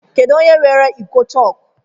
Kedụ onye weere iko chọọkụ?